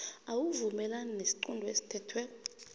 awuvumelani nesiqunto esithethweko